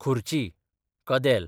खुर्ची, कदेल